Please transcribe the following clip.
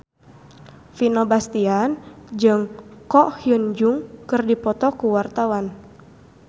Vino Bastian jeung Ko Hyun Jung keur dipoto ku wartawan